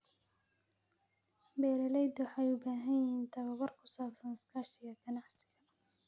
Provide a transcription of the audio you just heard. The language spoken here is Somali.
Beeraleydu waxay u baahan yihiin tababar ku saabsan iskaashiga ganacsiga.